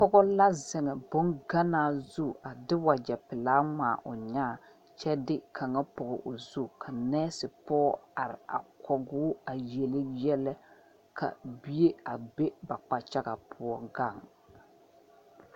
Pɔge la zeŋ bonganaa zu a de wagyɛpelaa ŋmaa o nyãã kyɛ de kaŋa pɔge o zu ka nɛɛsepɔge are a kɔge o a yele yɛlɛ ka bie a be ba kpakyaga poɔ gaŋ.